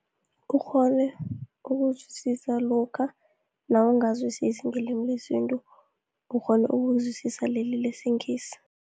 Ukghone ukuzwisisa lokha nawungazwisisi ngelimi lesintu, ukghona ukuzwisisa leli lesiNgisi.